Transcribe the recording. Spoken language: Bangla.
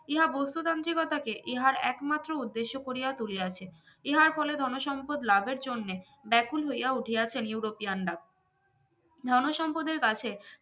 ইহা বস্তুতান্ত্রিকতাকে ইহার একমাত্র উদ্দেশ্য করিয়া তুলিয়াছে ইহার ফলে ধনসম্পদ লাভের জন্য ব্যাকুল হইয়া উঠিয়াছেন ইউরোপিয়ান রা ধনসম্পদ এর কাছে